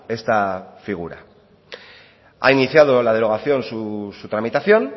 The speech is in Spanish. esta figura ha iniciado la derogación su tramitación